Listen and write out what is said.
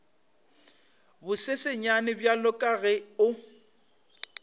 bosesenyane bjalo ka ge o